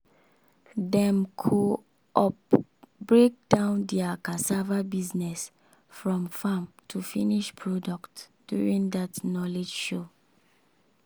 dem co-op break down their cassava business from farm to finish product during that knowledge show.